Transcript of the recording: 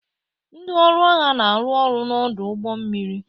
Ndị ọrụ agha na-arụ ọrụ n'ọdụ ụgbọ mmiri